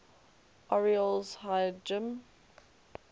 orioles hired jim